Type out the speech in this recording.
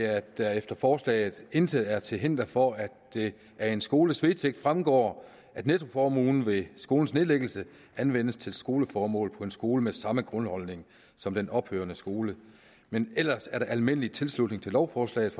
at der efter forslaget intet til hinder er for at det af en skoles vedtægt fremgår at nettoformuen ved skolens nedlæggelse anvendes til skoleformål på en skole med samme grundholdning som den ophørende skole men ellers er der almindelig tilslutning til lovforslaget